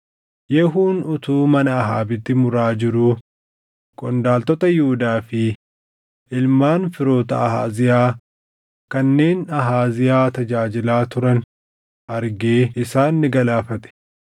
Yehuun utuu mana Ahaabitti muraa jiruu qondaaltota Yihuudaa fi ilmaan firoota Ahaaziyaa kanneen Ahaaziyaa tajaajilaa turan argee isaan ni galaafate.